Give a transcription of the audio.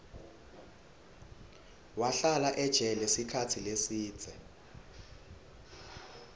wahlala ejele sikhatsi lesidze